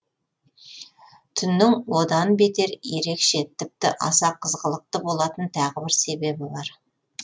түннің одан бетер ерекше тіпті аса қызғылықты болатын тағы бір себебі бар